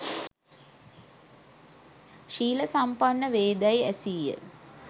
ශීල සම්පන්න වේදැයි ඇසීය.